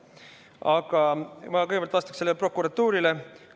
Aga ma kõigepealt vastaksin sellele prokuratuuri puudutanud väitele.